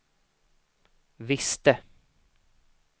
visste